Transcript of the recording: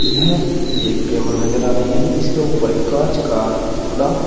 यह एक टेबल नजर आ रही है जिसके ऊपर एक कांच का टुकड़ा--